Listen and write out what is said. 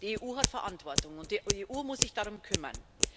Die EU hat Verantwortung, und die EU muss sich darum kümmern.